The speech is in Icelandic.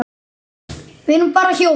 Við erum bara hjól.